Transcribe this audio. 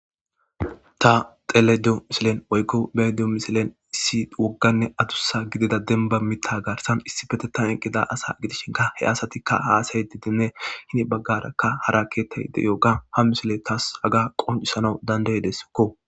Ta telediyo misilen oykko beydio misilen issi wogganne adussa gidida denba mitta gaarsan issi fetetan eqqida asa gidishinka he asatikka haasay didenne hini baggarakka hara ketta ide yooga ha misile taas haga qoncisanau dandeyedeskko.